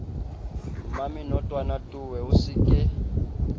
mmamenotwana towe o se ke